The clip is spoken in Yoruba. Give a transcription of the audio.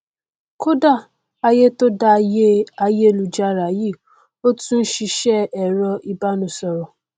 kódà ayé tó dayé ayélujára yìí ó tún n ṣiṣẹ ẹrọ ìbánisọrọ